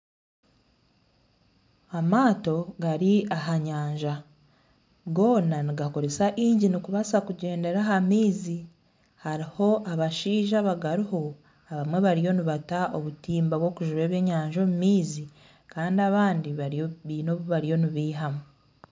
Amaato gari ahanyanja goona nibakoresa igini kubaasa kugyendera aha maizi hariho abashaija abagariho abamwe bariyo nibata obutimba obw'okujuba ebyenyanja omu maizi Kandi abandi baine obu bariyo nibeihamu